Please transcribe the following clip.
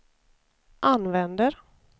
använder